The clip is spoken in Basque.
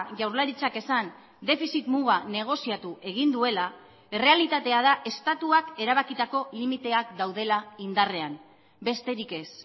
jaurlaritzak esan defizit muga negoziatu egin duela errealitatea da estatuak erabakitako limiteak daudela indarrean besterik ez